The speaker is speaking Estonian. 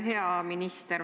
Hea minister!